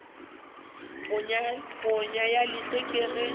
ponyo ya leihlo ke ge